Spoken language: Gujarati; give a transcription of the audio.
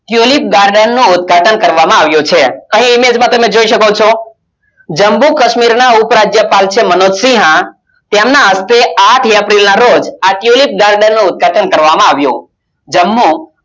આ tulip garden નું ઉદ્ગાટન કરવામાં આવ્યું છે અહી તમે image જોઈ શકો છો, જમ્મુ કાશ્મીરના ઉપરાજ્યપાલ છે મનોજસિંહ. તેમના હસ્તે આઠ april ના રોજ આ tulip garden નો ઉદ્ઘાટન કરવામાં આવ્યું જમ્મુ